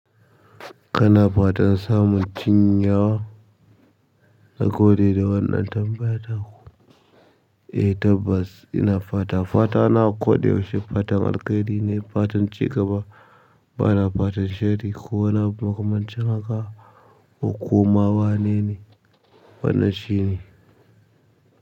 Kana fatan samun cin yawa na gode da wannan tambayar ta ku? Eh tabbas ina fata, fata na koda yaushe, fatan alkhairi ne fatan cigaba bana fatan sharri ko wani abu makamancin haka ko ko ma wa nene wanan shi ne.